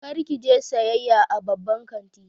Kar ki je sayayya a babban kanti.